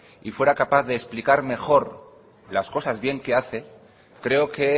y fuera capaz de explicar mejor las cosas bien que hace creo que